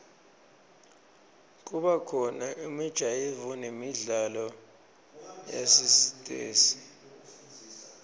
kubakhona imijayivo nemidlalo yasesitesi